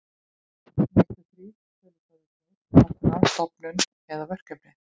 Næstu þrír tölustafirnir tákna stofnun eða verkefni.